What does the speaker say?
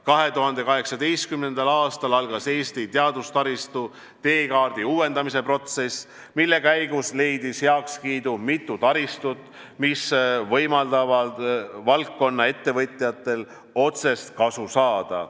2018. aastal algas Eesti teadustaristu teekaardi uuendamise protsess, mille käigus leidis heakskiidu mitu taristut, mis võimaldavad valdkonna ettevõtjatel otsest kasu saada.